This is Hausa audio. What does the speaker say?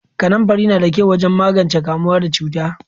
Kanamfari na da kyau wajen magance kamuwa da cuta.